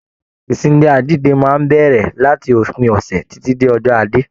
Ìsinmi àjínde máa n bẹrẹ láti òpin ọsẹ titi dé ọjọ́ ajé.